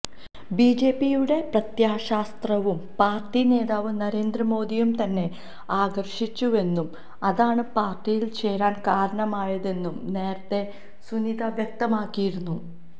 ബിജെപിയുടെ പ്രത്യയശാസ്ത്രവും പാര്ട്ടി നേതാവ് നരേന്ദ്ര മോദിയും തന്നെ ആകര്ഷിച്ചുവെന്നും അതാണ് പാര്ട്ടിയില് ചേരാന് കാരണമായതെന്നും നേരത്തെ സുനിത വ്യക്തമാക്കിയിരുന്നു